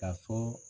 Ka fɔ